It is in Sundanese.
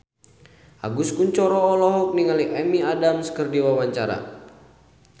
Agus Kuncoro olohok ningali Amy Adams keur diwawancara